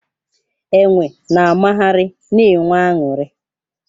Enwe na amagharị na-enwe aṅụrị.